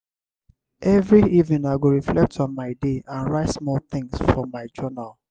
every evening i go reflect on my day and write small things for my journal.